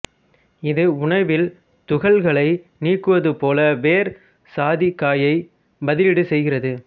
இது உணவில் துகள்களை நீக்குவதைப் போல வேர் சாதிக்காயைப் பதிலீடு செய்கிறது